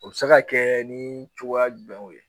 U bɛ se ka kɛ ni cogoya jumɛnw ye?